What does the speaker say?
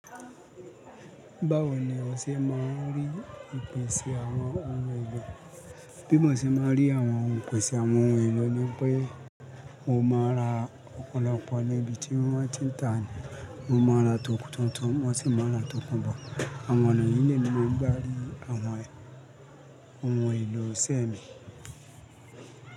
Báwo ni o ṣe máa ń rí ìpèsè àwọn ohun èlò? Bí mo ṣe máa ń rí àwọn ìpèsè àwọn ohun èlò ni pé mo máa ra ọ̀pọ̀lọpọ̀ níbi tí wọ́n bá ti ń tà á ní mo máa ra tó tuntun wọ́n sì máa ra tókún bọ̀. Àwọn ọ̀nà yí ni mo máa ń gbá rí àwọn ohun èlò iṣẹ́ mi.